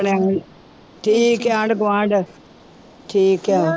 ਠੀਕ ਹੈ ਆਂਢ ਗੁਆਂਢ ਠੀਕ ਹੈ